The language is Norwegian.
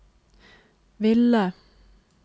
ville